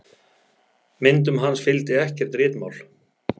Myndum hans fylgdi ekkert ritmál.